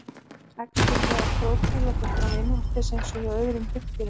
Æxlun meðal krókódíla fer fram innvortis eins og hjá öðrum hryggdýrum.